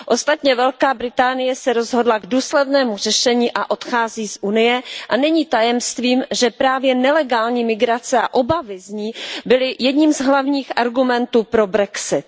Ostatně Velká Británie se rozhodla k důslednému řešení a odchází z Unie a není tajemstvím, že právě nelegální migrace a obavy z ní byly jedním z hlavních argumentů pro brexit.